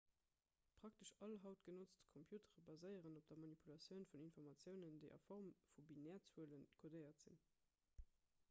praktesch all haut genotzt computere baséieren op der manipulatioun vun informatiounen déi a form vu binärzuele kodéiert sinn